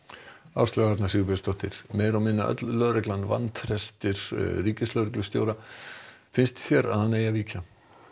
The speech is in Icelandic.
Áslaug Arna Sigurbjörnsdóttir meira og minna öll lögreglan vantreystir ríkislögreglustjóra finnst þér að hann eigi að víkja